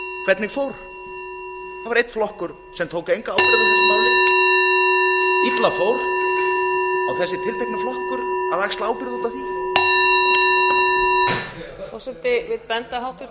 hvernig fór það var einn flokkur sem tók enga ábyrgð á þessu máli og það fór illa á sá tiltekni flokkur að axla ábyrgð út af því